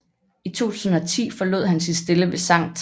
I 2010 forlod han sin stilling ved Skt